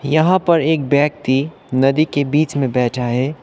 यहां पर एक व्यक्ति नदी के बीच में बैठा हैं।